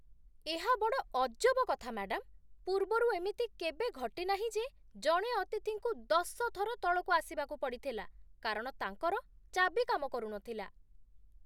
ଏହା ବଡ଼ ଅଜବ କଥା, ମ୍ୟାଡାମ୍! ପୂର୍ବରୁ ଏମିତି କେବେ ଘଟି ନାହିଁ ଯେ ଜଣେ ଅତିଥିଙ୍କୁ ଦଶ ଥର ତଳକୁ ଆସିବାକୁ ପଡ଼ିଥିଲା କାରଣ ତାଙ୍କର ଚାବି କାମ କରୁନଥିଲା ।